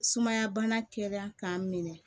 Sumaya bana kɛnɛya k'a minɛ